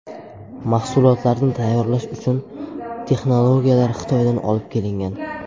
Mahsulotlarni tayyorlash uchun texnologiyalar Xitoydan olib kelingan.